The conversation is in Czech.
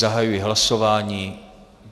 Zahajuji hlasování.